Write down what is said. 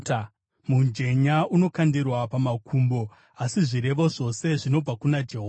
Mujenya unokandirwa pamakumbo, asi zvirevo zvose zvinobva kuna Jehovha.